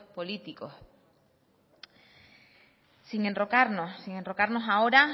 políticos sin enrocarnos sin enrocarnos ahora